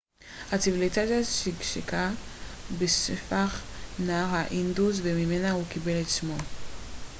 הציוויליזציה שגשגה בשפך נהר האינדוס וממנה הוא קיבל את שמו